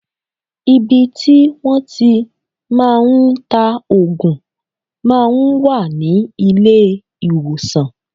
Ibi tí wọ́n tí màá ń ta òògùn máa ń wà ní ilé ìwòsàn.